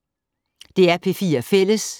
DR P4 Fælles